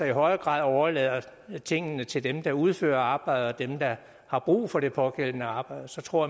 i højere grad overlader tingene til dem der udfører arbejdet og dem der har brug for det pågældende arbejde så tror